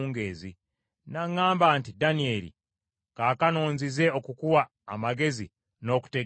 N’aŋŋamba nti, “Danyeri, kaakano nzize okukuwa amagezi n’okutegeera.